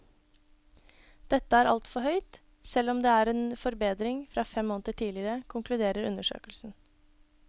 Dette er altfor høyt, selv om det er en forbedring fra fem måneder tidligere, konkluderer undersøkelsen.